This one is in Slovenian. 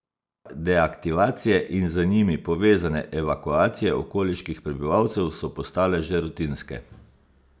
Deaktivacije in z njimi povezane evakuacije okoliških prebivalcev so postale že rutinske.